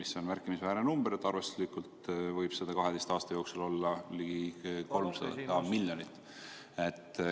See on märkimisväärne summa, arvestuslikult võib seda 12 aasta jooksul olla ligi 300 miljonit.